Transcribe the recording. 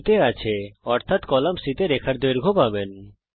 এখন এটি মান এ আছে অর্থাত আপনি কলাম C তে রেখার দৈর্ঘ্য দেখতে পাবেন